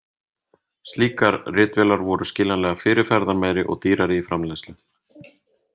Slíkar ritvélar voru skiljanlega fyrirferðarmeiri og dýrari í framleiðslu.